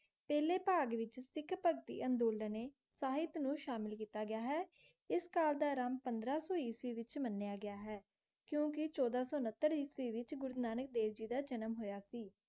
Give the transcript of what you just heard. ਪਹਿਲੇ ਭਾਗ ਵਿਚ ਸਿੱਖ ਭਗਤੀ ਅੰਦੋਲਨੇ ਸਹਿਤ ਨੂੰ ਸ਼ਾਮਿਲ ਕੀਤਾ ਗਿਆ ਹੈ ਇਸ ਕਾਲ ਦਾ ਆਰੰਭ ਪੰਦ੍ਰਹ ਸੌ ਈਸਵੀ ਵਿਚ ਮੰਨਿਆ ਗਿਆ ਹੈ ਕਿਉਂਕਿ ਚੌਦਾਂ ਸੌ ਉਨਹੱਤਰ ਈਸਵੀ ਵਿਚ ਗੁਰੂ ਨਾਨਕ ਦੇਵ ਜੀ ਦਾ ਜਨਮ ਹੋਇਆ ਸੀ